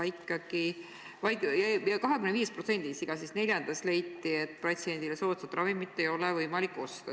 Ikkagi 25%-s, seega igas neljandas leiti, et patsiendile soodsat ravimit ei ole võimalik osta.